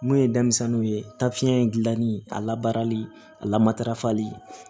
Mun ye denmisɛnninw ye taa fiɲɛ in gilanni a labarali a lamatarafali